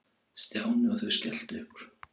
Stjáni og þau skelltu upp úr.